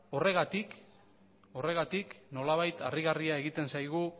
horregatik nolabait